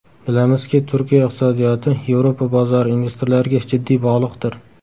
Bilamizki, Turkiya iqtisodiyoti Yevropa bozori investorlariga jiddiy bog‘liqdir.